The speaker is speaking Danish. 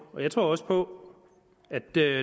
jeg tror også på at der